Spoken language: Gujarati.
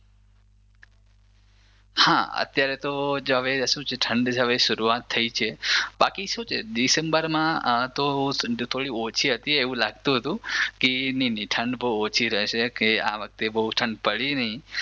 હા અત્યારે તો હવે શું છે ઠંડ હવે શરૂઆત થઇ છે બાકી શું છે ડિસેમ્બરમાં તો ઠંડ થોડી ઓછી હતી એવું લાગતું હતું કી નઈ નઈ ઠંડ બઉ ઓછી હશે કે આ વખતે બઉ ઠંડ પડી નઈ.